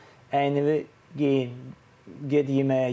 Əynivi geyin, get yeməyə.